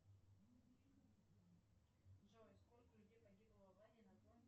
джой сколько людей погибло в аварии на